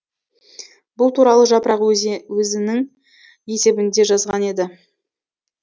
бұл туралы жапырақ өзінің есебінде жазған еді